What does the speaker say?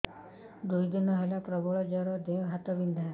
ଦୁଇ ଦିନ ହେଲା ପ୍ରବଳ ଜର ଦେହ ହାତ ବିନ୍ଧା